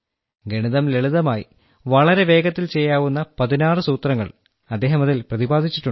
ഗണിതം ലളിതമായി വളരെ വേഗത്തിൽ ചെയ്യാവുന്ന പതിനാറ് സൂത്രങ്ങൾ അദ്ദേഹം അതിൽ പ്രതിപാദിച്ചിട്ടുണ്ട്